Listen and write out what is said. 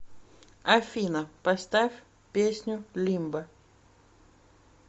афина поставь песню лимбо